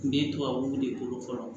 Min ye tubabu de ko fɔlɔ